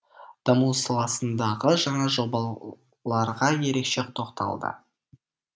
бақ дамуы саласындағы жаңа жобаларға ерекше тоқталды